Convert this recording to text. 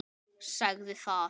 Sagði það.